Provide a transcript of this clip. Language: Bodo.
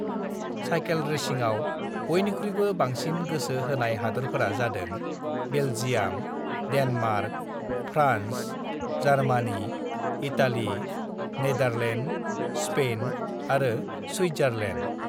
"साइखेल रेसिंआव बयनिख्रुइबो बांसिन गोसो होनाय हादोरफोरा जादों- Belgium, Denmark, France, Germany, Italy, Netherland, Spain और स्विट्जरलेण्ड।"